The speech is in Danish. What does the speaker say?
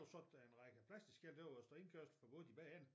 Så tage en række plastikskilte der hvor der står indkørsel forbudt i begge ender